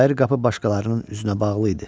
Bayır qapı başqalarının üzünə bağlı idi.